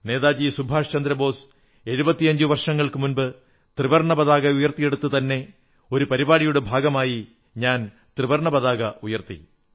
നേതാജി സുഭാഷ് ചന്ദ്രബോസ് 75 വർഷങ്ങൾക്കു മുമ്പ് ത്രിവർണ്ണ പതാക ഉയർത്തിയിടത്തുതന്നെ ഒരു പരിപാടിയുടെ ഭാഗമായി ഞാൻ ത്രിവർണ്ണ പതാക ഉയർത്തി